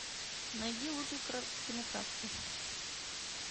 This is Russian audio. найди лучшие короткометражки